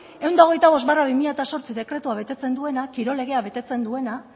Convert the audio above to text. ehun eta hogeita bost barra bi mila zortzi dekretua betetzen duena kirol legea betetzen duena